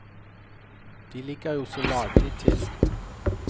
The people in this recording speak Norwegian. De ligger jo så lagelig til.